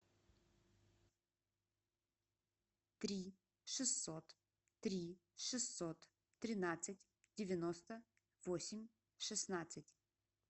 три шестьсот три шестьсот тринадцать девяносто восемь шестнадцать